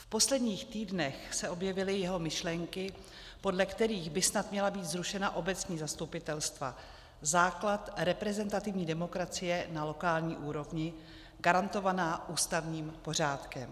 V posledních týdnech se objevily jeho myšlenky, podle kterých by snad měla být zrušena obecní zastupitelstva - základ reprezentativní demokracie na lokální úrovni - garantovaná ústavním pořádkem.